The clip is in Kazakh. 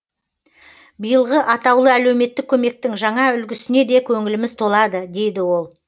биылғы атаулы әлеуметтік көмектің жаңа үлгісіне де көңіліміз толады дейді ол